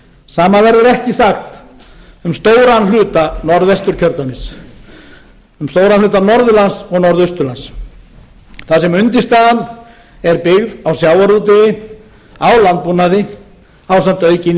sama verður ekki sagt um stóran hluta norðvesturkjördæmis um stóran hluta norðurlands og norðausturlands þar sem undirstaðan er byggð á sjávarútvegi á landbúnaði ásamt aukinni